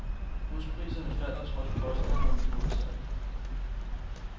Huspriserne falder trods påstande om det modsatte.